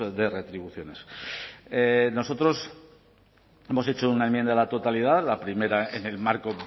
de retribuciones nosotros hemos hecho una enmienda a la totalidad la primera en el marco